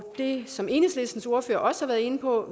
det som enhedslistens ordfører også har været inde på